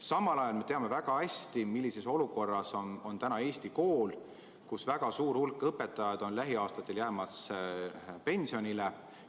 Samal ajal me teame väga hästi, millises olukorras on Eesti kool, väga suur hulk õpetajaid jääb lähiaastatel pensionile.